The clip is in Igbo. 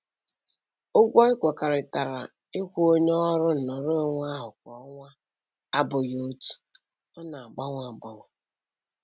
Ụgwọ ekwekọrịtara ịkwụ onye ọrụ nnọrọonwe ahụ kwa ọnwa abụghị otu, ọ na-agbanwe agbanwe